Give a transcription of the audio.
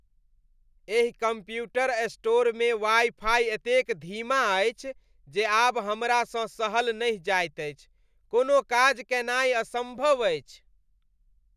एहि कंप्यूटर स्टोरमे wifi एतेक धीमा अछि जे आब हमरासँ सहल नहि जाइत अछि। कोनो काज कयनाय असम्भव अछि।